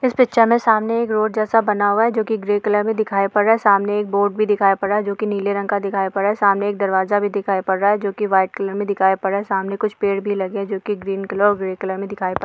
इस पिक्चर में सामने एक रोड जैसा बना हुआ है जो कि ग्रे कलर में दिखाई दे रहा है सामने एक बोर्ड भी दिखाई पड़ रहा जो कि नीले रंग का दिखाई पड़ रहा है सामने एक दरवाजा भी दिखाई पड़ रहा जो की व्हाइट कलर में दिखाई पड़ रहा सामने कुछ पेड़ भी लगे जो कि ग्रीन कलर और ग्रे कलर में दिखाई पड़ --